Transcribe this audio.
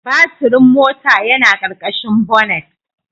Baturin mota yana ƙarƙashin bonnet.